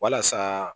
Walasa